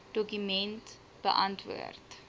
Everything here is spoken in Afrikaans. dokument beantwoord